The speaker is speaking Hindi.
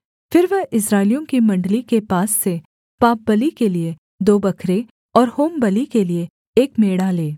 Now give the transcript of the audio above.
फिर वह इस्राएलियों की मण्डली के पास से पापबलि के लिये दो बकरे और होमबलि के लिये एक मेढ़ा ले